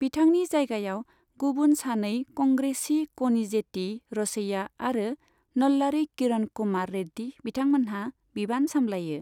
बिथांनि जायगायाव गुबुन सानै कंग्रेसी क'निजेती र'सैया आरो नल्लारी किरण कुमार रेड्डी बिथांमोनहा बिबान सामलायो।